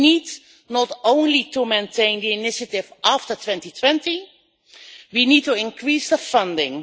We need not only to maintain the initiative after 2020, but we need to increase the funding.